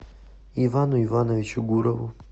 ивану ивановичу гурову